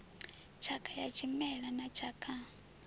tshakha ya tshimela na tshakha